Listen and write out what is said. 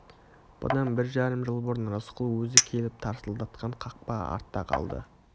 бұдан бір жарым жыл бұрын рысқұл өзі келіп тарсылдатқан қақпа артта қалды